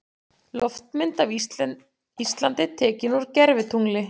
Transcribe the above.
Loftmynd af Íslandi tekin úr gervitungli.